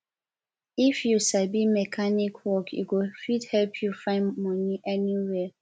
if you sabi mechanic work e go fit help you find money anywhere